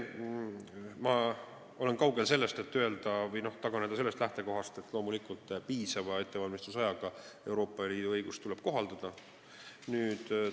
Ma olen kaugel sellest, et taganeda lähtekohast, et loomulikult tuleb Euroopa Liidu õigust kohaldada piisava ettevalmistusajaga.